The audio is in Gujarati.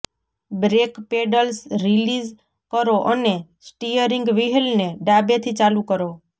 બ્રેક પેડલ રીલીઝ કરો અને સ્ટિયરિંગ વ્હીલને ડાબેથી ચાલુ કરો